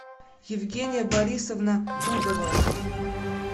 евгения борисовна пудова